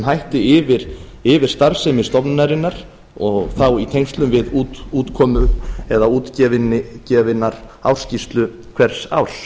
hætti yfir starfsemi stofnunarinnar og þá í tengslum við útkomu eða útgefna ársskýrslu hvers árs